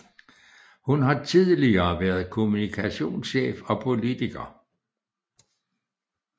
Hun har tidligere været kommunikationschef og politiker